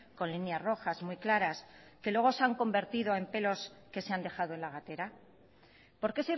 con líneas rojas muy claras que luego se han convertido en pelos que se han dejado en la gatera por qué